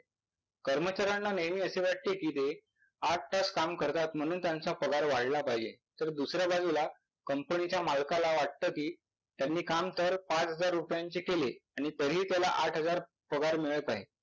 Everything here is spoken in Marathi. कर्मचाऱ्यांना नेहमी असे वाटते कि आठ तास काम करतात म्हणून त्यांचा पगार वाढला पाहिजे तर दुसऱ्या बाजूला कंपनीच्या मालकाला वाटत कि त्यांनी काम तर पाच हजार रुपयांचे केले आणि तरीही त्याला आठ हजार पगार मिळत आहे.